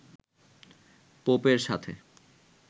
পোপের সাথে